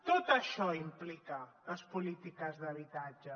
tot això implica les polítiques d’habitatge